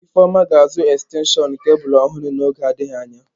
Ifeoma ga-azụ ekstenshọn kebụlụ ọhụrụ n'oge adịghị anya.